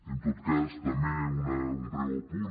en tot cas també un breu apunt